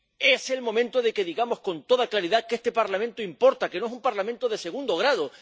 Es el momento de que digamos con toda claridad que este Parlamento importa, que no es un Parlamento de segundo grado